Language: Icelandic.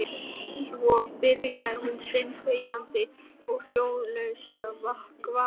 Svo byrjaði hún steinþegjandi og hljóðalaust að vaska upp.